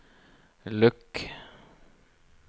lukk